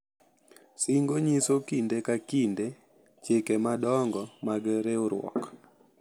Singo nyiso kinde ka kinde chike madongo mag riwruok.